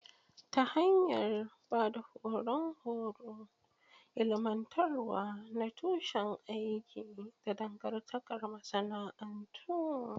Ta hanyar ba da horon horo, ilmantarwa na tushen aiki, da dangantakar masana'antu.